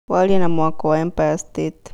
warie wa mwako wa empire state